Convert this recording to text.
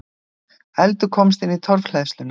Eldur komst inn í torfhleðsluna